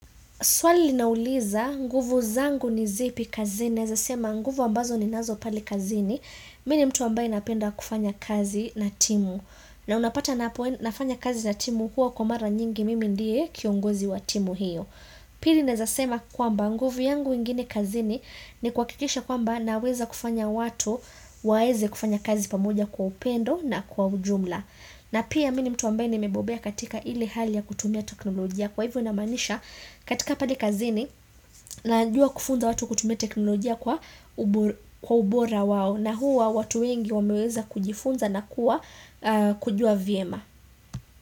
Swali linauliza, nguvu zangu ni zipi kazini, naeza sema nguvu ambazo ninazo pale kazini, mi ni mtu ambaye napenda kufanya kazi na timu. Na unapata nafanya kazi na timu huwa kwa mara nyingi mimi ndiye kiongozi wa timu hiyo. Pili naeza sema kwamba nguvu yangu ingine kazini ni kuhakikisha kwamba naweza kufanya watu waeze kufanya kazi pamoja kwa upendo na kwa ujumla. Na pia mi ni mtu ambaye nimebobea katika ile hali ya kutumia teknolojia. Kwa hivyo namaanisha katika pale kazini najua kufunza watu kutumia teknolojia kwa ubora wao na huwa watu wengi wameweza kujifunza na kuwa kujua vyema.